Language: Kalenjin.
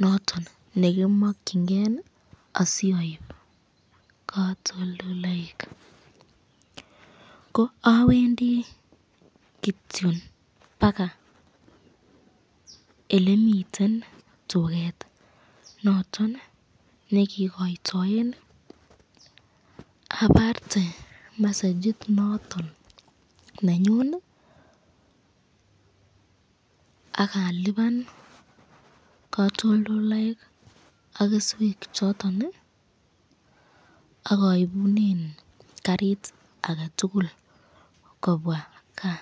noton negimokyingee asioib katol ldoloik, ko awendii kityo baga emeniten tugeet noton negigoitoen abarte mesegit noton nenyuun iih ak alibaan katolldoloik ak kesweek choton iih ak aibunen kariit agetugul kobwaa gaa.